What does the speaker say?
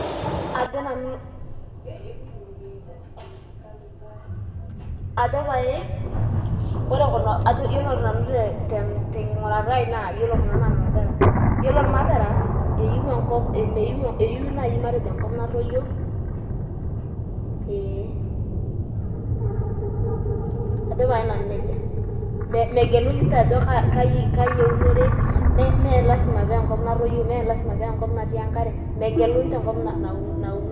Ajo pae, ore tenkigurata ai naa ilmapera iyiolo ilmapera, eyieu enkop natoyio, ee aja pae nanu neija, megelu ninche ajo kajin eunore, mee lasima pee enkop natoyio, meenkop natii enkare. Megelu ninche ajo kaa kop.